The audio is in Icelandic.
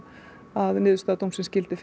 að niðurstaða dómsins gildi